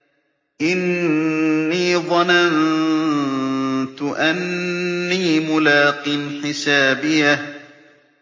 إِنِّي ظَنَنتُ أَنِّي مُلَاقٍ حِسَابِيَهْ